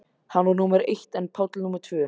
Hann var númer eitt en Páll númer tvö.